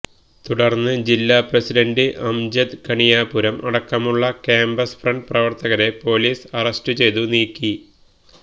തുടർന്ന് ജില്ലാ പ്രസിഡൻ്റ് അംജദ് കണിയാപുരം അടക്കമുള്ള കാംപസ് ഫ്രണ്ട് പ്രവർത്തകരെ പോലിസ് അറസ്റ്റ് ചെയ്തു നീക്കി